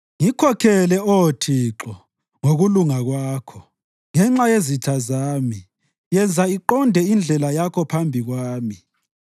Ngikhokhele, Oh Thixo, ngokulunga kwakho; ngenxa yezitha zami yenza iqonde indlela yakho phambi kwami.